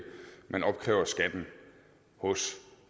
man opkræver skatten hos